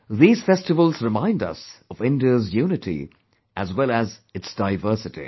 These festivals remind us of India's unity as well as its diversity